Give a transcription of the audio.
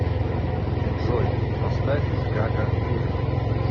джой поставь гага курим